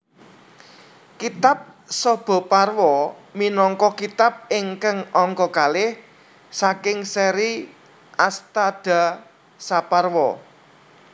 Kitab Sabhaparwa minangka kitab ingkang angka kalih saking séri Astadasaparwa